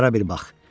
Bunlara bir bax!